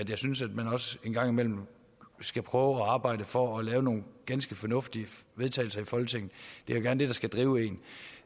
jeg synes at man også en gang imellem skal prøve at arbejde for at lave nogle ganske fornuftige vedtagelser i folketinget det er gerne det der skal drive en